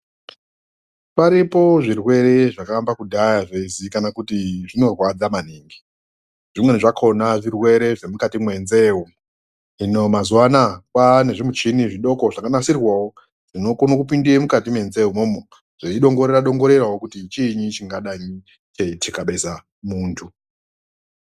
Paripo zvirwere zvakaamba kudhaya zveiziikana kuti zvinorwadza maningi. Zvimweni zvakhona zvirwere zvemukati mwenzee umu. Hino mazuwa anaa kwaane zvimuchini zvidoko zvakanasirwawo, zvinokone kupinde mukati menzee umomo zveidongorera-dongorerawo, kuti chiinyi chingadai cheithikabeza muntu.